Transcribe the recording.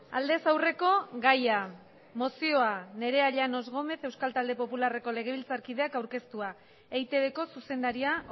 aldez aurreko gaia mozioa nerea llanos gómez euskal talde popularreko legebiltzarkideak aurkeztua eitbko zuzendaria